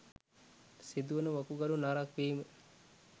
සිදුවන වකුගඩු නරක් වීම